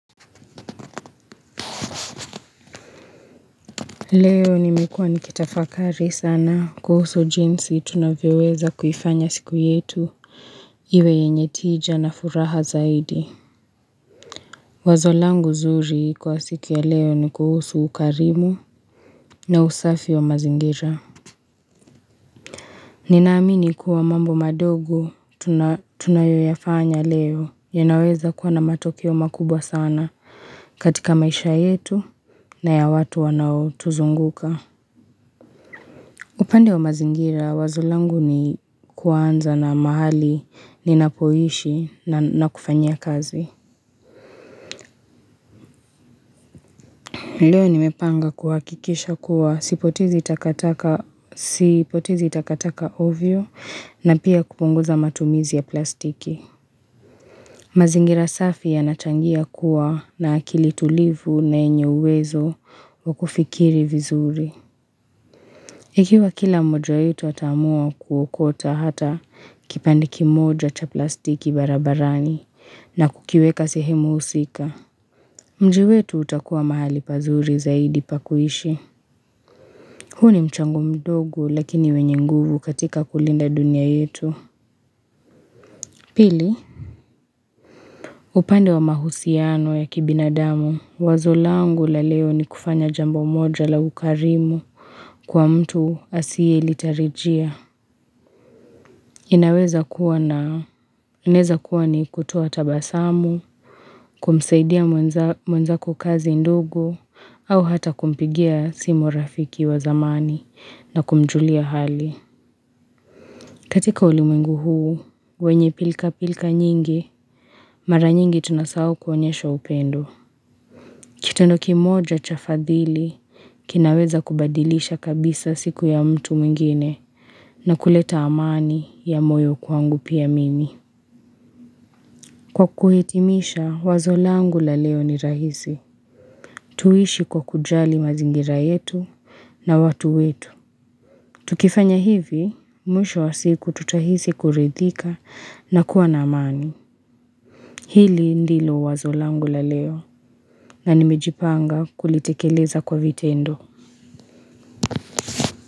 Leo nimekuwa nikitafakari sana kuhusu jinsi tunavyeweza kufanya siku yetu iwe yenye tija na furaha zaidi wazo langu zuri kwa siku ya leo ni kuhusu ukarimu na usafi wa mazingira ninaamini kuwa mambo madogo tunayoyafanya leo ya naweza kuwa na matokio makubwa sana katika maisha yetu na ya watu wanao tuzunguka upande wa mazingira wazolangu ni kuanza na mahali ni napoishi na kufanya kazi. Leo nimepanga kuhakikisha kuwa sipotizi itakataka ovyo na pia kupunguza matumizi ya plastiki. Mazingira safi yanachangia kuwa na akili tulivu na yenye uwezo wa kufikiri vizuri. Ikiwa kila mojo yetu atamua kuokota hata kipandiki moja cha plastiki barabarani na kukiweka sehemu usika. Mjiwetu utakuwa mahali pazuri zaidi pakuishi. Huni mchangu mdogo lakini wenye nguvu katika kulinda dunia yetu. Pili? Upande wa mahusiano ya kibinadamu. Wazolangu la leo ni kufanya jambo moja la ukarimu kwa mtu asie ilitarijia. Inaweza kuwa na uneza kuwa ni kutowa tabasamu, kumsaidia mwanza kukazi ndugo, au hata kumpigia simo rafiki wa zamani na kumjulia hali. Katika ulimengu huu, wenye pilka pilka nyingi, mara nyingi tunasau kuanyesha upendo. Kitendo kimoja chafadhili, kinaweza kubadilisha kabisa siku ya mtu mwingine na kuleta amani ya moyo kwangu pia mimi. Kwa kuhitimisha, wazolangu la leo ni rahisi. Tuishi kwa kujali mazingira yetu na watu yetu. Tukifanya hivi, mwisho wa siku tutahisi kurethika na kuwa na amani. Hili ndilo wazolangu la leo na nimejipanga kulitekeleza kwa viteendo.